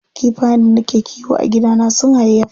Kifayen da nake kiwo a gidana sun hayayyafa.